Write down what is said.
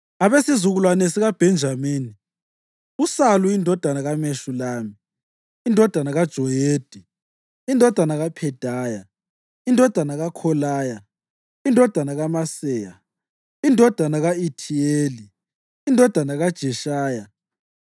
Abesizukulwane sikaBhenjamini: uSalu indodana kaMeshulami, indodana kaJoyedi, indodana kaPhedaya, indodana kaKholaya, indodana kaMaseya, indodana ka-Ithiyeli, indodana kaJeshaya,